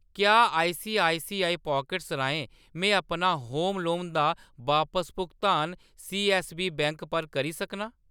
क्या ICICI pockets राहें में अपना होम लोन दा बापस भुगतान सीऐस्सबी बैंक पर करी सकनां ?